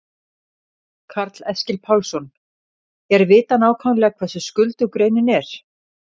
Karl Eskil Pálsson: Er vitað nákvæmlega hversu skuldug greinin er?